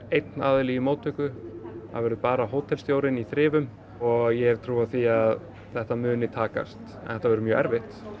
einn í móttöku bara hótelstjórinn í þrifum og ég hef trú á því að þetta muni takast en þetta verður mjög erfitt